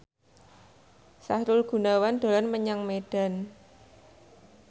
Sahrul Gunawan dolan menyang Medan